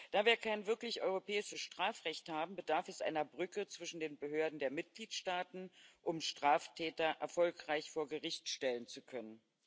Da wir kein wirklich europäisches Strafrecht haben, bedarf es einer Brücke zwischen den Behörden der Mitgliedstaaten, um Straftäter erfolgreich vor Gericht stellen zu können.